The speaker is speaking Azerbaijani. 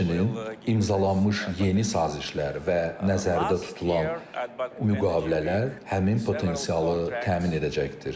Həmçinin imzalanmış yeni sazişlər və nəzərdə tutulan müqavilələr həmin potensialı təmin edəcəkdir.